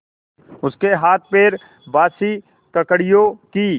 उसके हाथपैर बासी ककड़ियों की